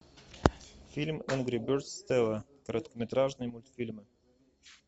фильм энгри бердз стелла короткометражные мультфильмы